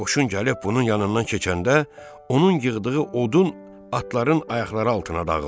Qoşun gəlib bunun yanından keçəndə, onun yığdığı odun atların ayaqları altına dağıldı.